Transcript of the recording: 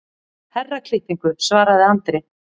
Herraklippingu, svaraði Andri.